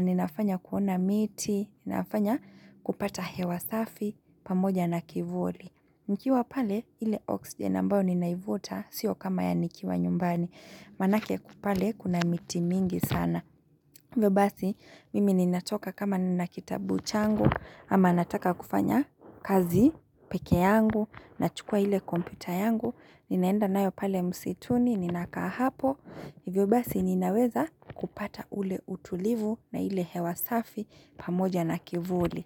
Ninafanya kuona miti, Ninafanya kupata hewa safi pamoja na kivuli. Nikiwa pale ile oxygen ambayo ninaivuta Sio kama ya nikiwa nyumbani Maanake pale kuna miti mingi sana hivyo basi mimi ninatoka kama nina kitabu changu ama nataka kufanya kazi peke yangu nachukua ile kompyuta yangu, ninaenda nayo pale msituni ninakaa hapo, Hivyo basi ninaweza kupata ule utulivu na ile hewa safi pamoja na kivuli.